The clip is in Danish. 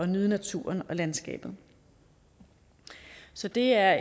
nyde naturen og landskabet så det er